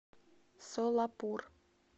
солапур